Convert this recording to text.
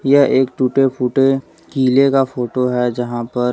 यह एक टूटे फूटे किले का फोटो है जहां पर।